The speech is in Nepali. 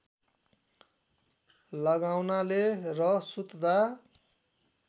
लगाउनाले र सुत्दा